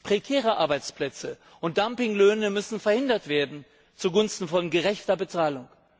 Prekäre Arbeitsplätze und Dumpinglöhne müssen verhindert werden zugunsten von gerechter Bezahlung.